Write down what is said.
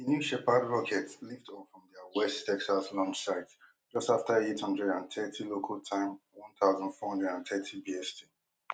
new shepard rocket lift off from dia west texas launch site just afta eight hundred and thirty local time one thousand, four hundred and thirty BST